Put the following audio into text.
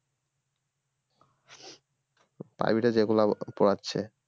private এ যেগুলা পড়াচ্ছে